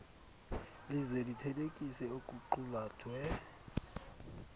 lize lithelekise okuqulathwe